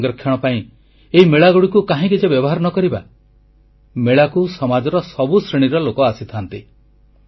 ଜଳ ସଂରକ୍ଷଣ ପାଇଁ ଏହି ମେଳାଗୁଡ଼ିକୁ କାହିଁକି ଯେ ବ୍ୟବହାର ନ କରିବା ମେଳାକୁ ସମାଜର ସବୁ ଶ୍ରେଣୀର ଲୋକ ଆସିଥାନ୍ତି